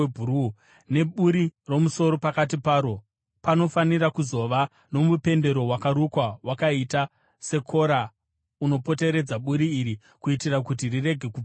neburi romusoro pakati paro. Panofanira kuzova nomupendero wakarukwa wakaita sekora unopoteredza buri iri, kuitira kuti rirege kubvaruka.